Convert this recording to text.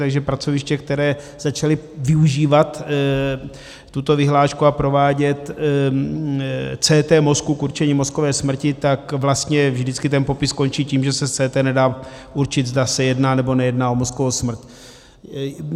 Takže pracoviště, která začala využívat tuto vyhlášku a provádět CT mozku k určení mozkové smrti, tak vlastně vždycky ten popis končí tím, že se z CT nedá určit, zda se jedná, nebo nejedná o mozkovou smrt.